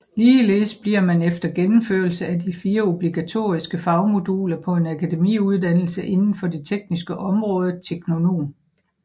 Ligeledes bliver man efter gennemførelse af de 4 obligatoriske fagmoduler på en akademiuddannelse inden for det tekniske område teknonom